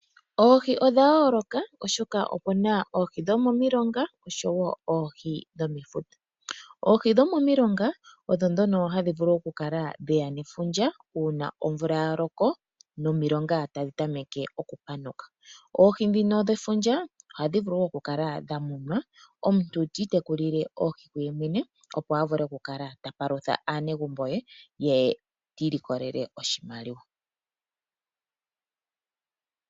Oohi odha yoloka oshoka opu na oohi dho momiilonga oshowo oohi dhomefuta. Oohi dho momiilonga odho dhono dheya nefundja. Una omvula yaloko nomiilonga tadhi tameke oku panuka. Oohi dhino dhefundja ohadhi vulu wo oku kala dha munwa omuntu ti itekulile oohi dhe yemwene. Opo a vule oku kala tapalutha aanegumbo ye. Ye ti ilikolele oshimaliwa.